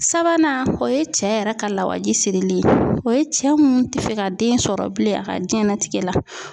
Sabanan o ye cɛ yɛrɛ ka lawaji sirili ye o ye cɛ mun tɛ fɛ ka den sɔrɔ bilen a ka diɲɛnatigɛ la.